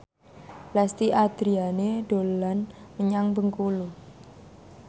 Lesti Andryani dolan menyang Bengkulu